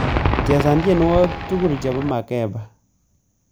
Chesan tyenwogik tugul chebo makepa